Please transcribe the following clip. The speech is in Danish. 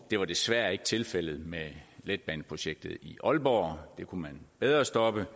var desværre ikke tilfældet med letbaneprojektet i aalborg det kunne man bedre stoppe